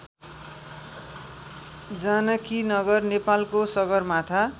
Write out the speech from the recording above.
जानकीनगर नेपालको सगरमाथा